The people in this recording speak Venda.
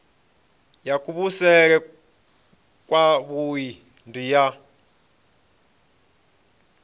ya kuvhusele kwavhui ndi ya